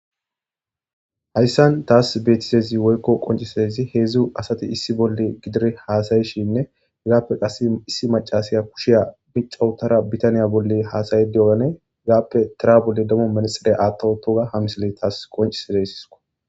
Hayssan taasi beetiza izi woykko qonciseda izi heezzu asati issi bolla giddire haasayishinne hegaappe qasse issi macasaya kushiya mica wotara bitaniya bolla haasaya diyogane hegaappe tira bolla demo manaxire aatta wottoga ha misile taasi qoncise desiko